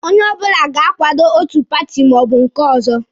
Onye ọbụla ga-akwado otu paati ma ọ bụ nke ọzọ.